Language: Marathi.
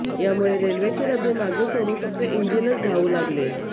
यामुळे रेल्वेचे डबे मागे सोडून फक्त इंजिनच धावू लागले